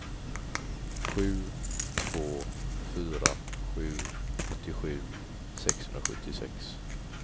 sju två fyra sju åttiosju sexhundrasjuttiosex